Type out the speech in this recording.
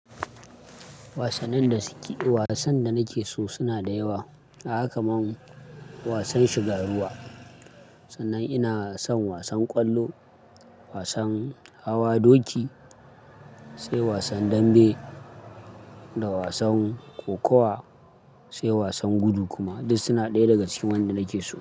Wasannin da suke-- wasan da nake so suna da yawa. A hakan nan wasan shiga ruwa, sannan ina son wasan ƙwallo, wasan hawa doki, sai wasan dambe da wasan kokawa, sai wasan gudu kuma duk suna ɗaya daga cikin wanda nake so.